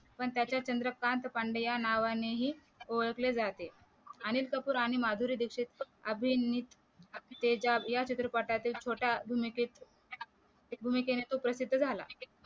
पण त्याच्या चंद्रकांत पांडे या नावानेही ओळखले जाते अनिल कपूर आणि माधुरी दीक्षित अभिनेय तेजा या चित्रपटातील छोटा भूमिकेत भूमिके ने तो प्रसिद्ध झाला